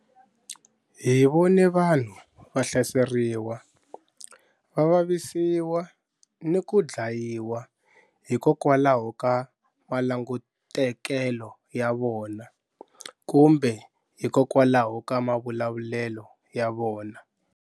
Hi vone vanhu va hlaseriwa, va vavisiwa ni ku dlayiwa hikokwalaho ka malangutekelo ya vona kumbe hikokwalaho ka mavulavulelo ya vona.